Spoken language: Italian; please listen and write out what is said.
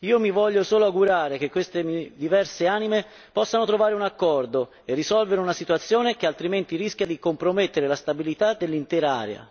Io mi voglio solo augurare che queste diverse anime possano trovare un accordo e risolvere una situazione che altrimenti rischia di compromettere la stabilità dell'intera area.